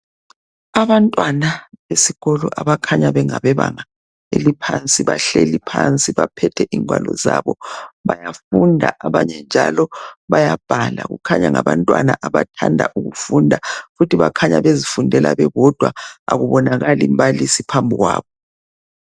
Abantwana besikolo abakhanya bengabebenga eliphansi, bahleli phansi baphethe ingwalo zabo bayafunda, abanye njalo bayabhala kukhanya ngabantwana abathanda ukufunda ngokuthi bakhanya bezifundela bebodwa akubonakali mbalisi phambikwabo.